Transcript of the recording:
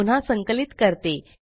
मी पुन्हा संकलित करते